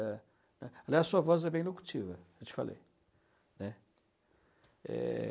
é é. Aliás, sua voz é bem locutiva, eu te falei, né. É...